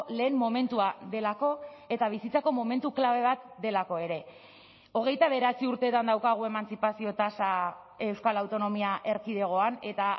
lehen momentua delako eta bizitzako momentu klabe bat delako ere hogeita bederatzi urtetan daukagu emantzipazio tasa euskal autonomia erkidegoan eta